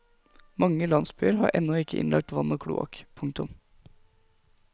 Mange landsbyer har ennå ikke innlagt vann og kloakk. punktum